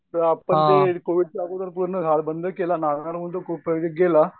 ते आता ते कोविडच्या अगोदर पूर्ण झालं बंद केलं प्रोजेक्ट गेला.